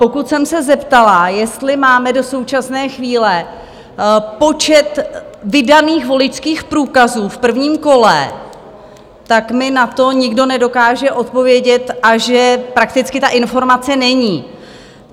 Pokud jsem se zeptala, jestli máme do současné chvíle počet vydaných voličských průkazů v prvním kole, tak mi na to nikdo nedokáže odpovědět, a že prakticky ta informace není.